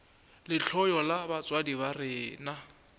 lehloyo la batswadi ba rena